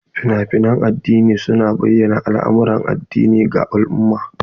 Fina-finan addini su na bayyana al'amuran addini ga al'umma.